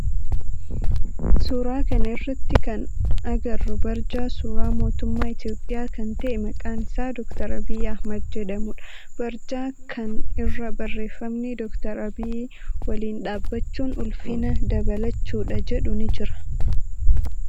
Suuraa kana irratti kan agarru barjaa suuraa mootummaa Itiyoophiyaa kan ta'e maqaan isaa Dr. Abiyyi Ahimeed jedhamudha. Barjaa kan irra barreeffama Dr. Abiyyii waliin dhaabbachuun ulfina dabalachuu dha jedhu ni jira.